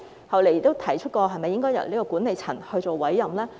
後來亦提出是否應該由管理層作出委任？